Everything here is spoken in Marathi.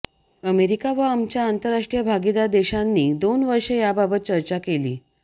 अमेरिका व आमच्या आंतरराष्ट्रीय भागीदार देशांनी दोन वर्षे याबाबत चर्चा केली